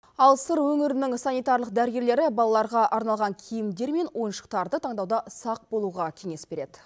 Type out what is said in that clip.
ал сыр өңірінің санитарлық дәрігерлері балаларға арналған киімдер мен ойыншықтарды таңдауда сақ болуға кеңес береді